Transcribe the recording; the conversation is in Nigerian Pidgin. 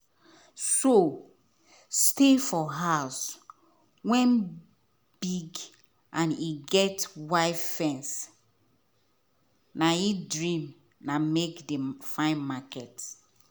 so stay for house wen big and e get white fence na he dream na make he find mkney.